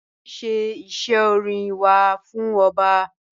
A nṣẹ̀ ìṣẹ̀ ọ̀rìn wà fún ọbá.